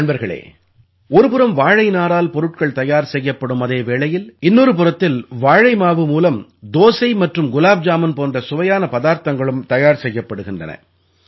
நண்பர்களே ஒரு புறம் வாழை நாரால் பொருட்கள் தயார் செய்யப்படும் அதே வேளையில் இன்னொரு புறத்தில் வாழை மாவு மூலம் தோசை மற்றும் குலாப் ஜாமுன் போன்ற சுவையான பதார்த்தங்களும் தயார் செய்யப்படுகின்றன